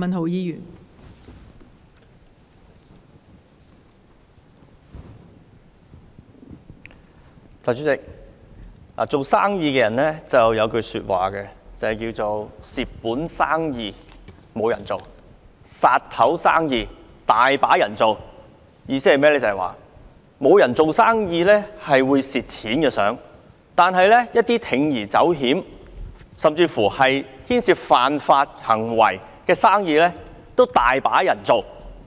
代理主席，做生意的人有一句話，就是"蝕本生意無人做，殺頭生意有人做"，意思是沒人做生意想蝕錢，但一些需要鋌而走險甚至牽涉犯法行為的生意，卻很多人做，